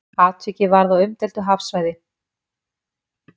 Atvikið varð á umdeildu hafsvæði